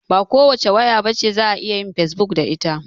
Ba kowace waya bace za'a iya yin fesbuk da ita